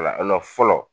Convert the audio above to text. Wala fɔlɔ